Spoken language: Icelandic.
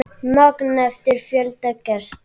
Magn eftir fjölda gesta.